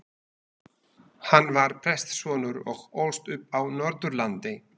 Hann var prestssonur og ólst upp á Norðurlandi.